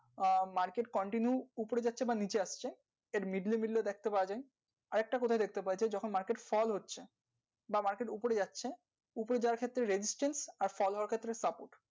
আর market continuous উপরে আসছে না নিচে আসছে আরেকটা market strong হচ্ছে বা market উপরে যাচ্ছে fallstrong